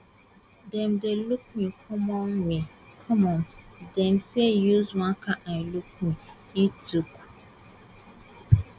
dem dey look me common me common dem dey use one kain eye look me e tok